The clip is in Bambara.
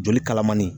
Joli kalamanni